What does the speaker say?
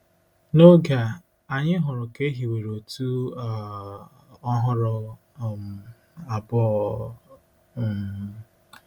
N’oge a, anyị hụrụ ka e hiwere otu um ọhụrụ um abụọ um.